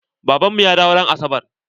Baban mu ya dawo ran asabar.